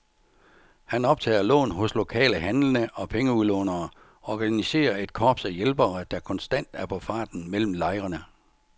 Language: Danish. Han optager lån hos lokale handlende og pengeudlånere, organiserer et korps af hjælpere, der konstant er på farten mellem lejrene.